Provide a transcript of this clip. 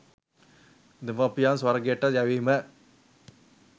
දෙමව්පියන් ස්වර්ගයට යැවීම